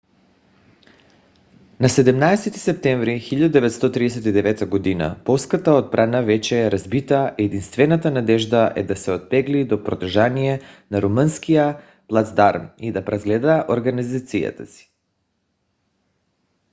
на 17-и септември 1939 г. полската отбрана вече е разбита и единствената надежда е да се оттегли по протежение на румънския плацдарм и да преразгледа организацията си